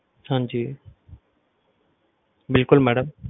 ਹਾਂਜੀ ਬਿਲਕੁਲ madam